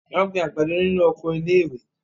Wọ́n gbin àgbàdo nínu oko iléèwé